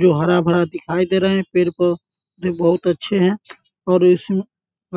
जो हरा-भरा दिखाई दे रहें हैं पेड़ पर वे बहुत अच्छे हैं और इस